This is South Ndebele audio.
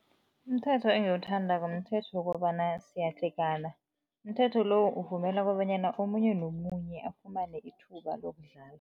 Umthetho engiwuthandako, mthetho wobana siyadlhegana. Umthetho lo uvumela kobanyana omunye nomunye afumane ithuba lokudlala.